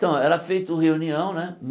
Então, era feito reunião, né?